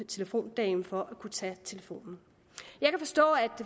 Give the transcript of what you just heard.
telefondame for at tage telefonen jeg kan forstå at